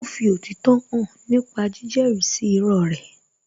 Ó fi òtítọ́ hàn nípa jíjẹ́rí sí irọ́ rẹ̀